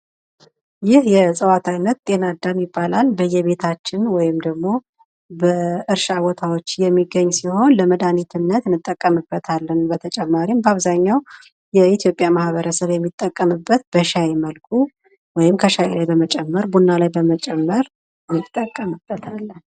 ይህ የእጽዋት አይነት ጤናዳም ይባላል። በየቤታችን ወይም ደግሞ በእርሻ ቦታዎች የሚገኝ ሲሆን ለመድሃኒትነት እንጠቀምበታለን። በተጨማሪም በአብዛኛው የኢትዮጵያ ማህበረሰብ የሚጠቀምበት በሻይ መልኩ ወይም ከሻይ ላይ በመጨመር ከቡና ላይ በመጨመር እንጠቀምበታለን።